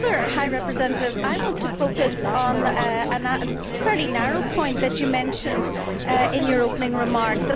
High Representative, I want to focus on a fairly narrow point that you mentioned in your opening remarks.